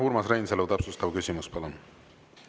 Urmas Reinsalu, täpsustav küsimus, palun!